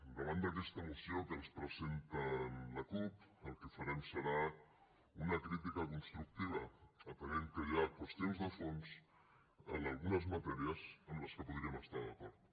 davant d’aquesta moció que ens presenta la cup el que farem serà una crítica constructiva atès que hi ha qüestions de fons en algunes matèries amb què podríem estar d’acord